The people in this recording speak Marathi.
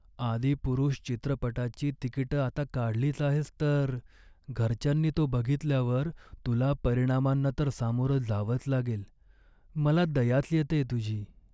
"आदिपुरुष" चित्रपटाची तिकिटं आता काढलीच आहेस तर, घरच्यांनी तो बघितल्यावर तुला परिणामांना तर सामोरं जावंच लागेल. मला दयाच येतेय तुझी.